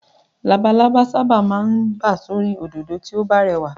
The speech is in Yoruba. Labalábá sábà máa ń bà sórí òdòdó tí ó bá rẹwà